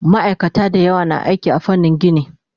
Maaikata da yawa na aiki a fannin gini